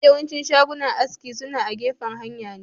mafi yawancin shagunan aski suna agefan hanya ne